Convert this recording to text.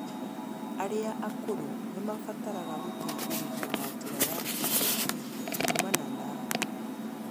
Arĩa akũrũ nĩ mabataraga gũteithĩrĩrio na njĩra ya kĩĩmeciria kumana na